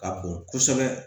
Ka bon kosɛbɛ